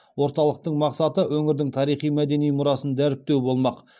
орталықтың мақсаты өңірдің тарихи мәдени мұрасын дәріптеу болмақ